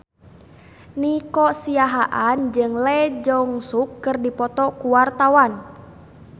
Nico Siahaan jeung Lee Jeong Suk keur dipoto ku wartawan